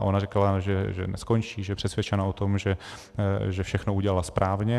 A ona říkala, že neskončí, že je přesvědčena o tom, že všechno udělala správně.